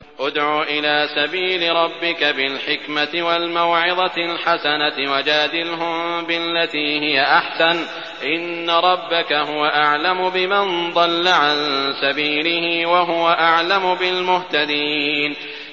ادْعُ إِلَىٰ سَبِيلِ رَبِّكَ بِالْحِكْمَةِ وَالْمَوْعِظَةِ الْحَسَنَةِ ۖ وَجَادِلْهُم بِالَّتِي هِيَ أَحْسَنُ ۚ إِنَّ رَبَّكَ هُوَ أَعْلَمُ بِمَن ضَلَّ عَن سَبِيلِهِ ۖ وَهُوَ أَعْلَمُ بِالْمُهْتَدِينَ